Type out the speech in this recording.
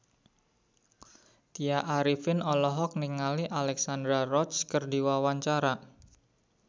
Tya Arifin olohok ningali Alexandra Roach keur diwawancara